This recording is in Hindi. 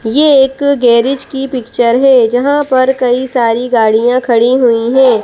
ये एक गैरेज की पिक्चर है जहाँ पर कई सारी गाड़ियां खड़ी हुई हैं।